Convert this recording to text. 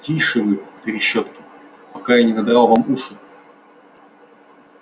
тише вы трещотки пока я не надрал вам уши